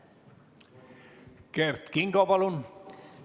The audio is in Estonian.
Kert Kingo, palun!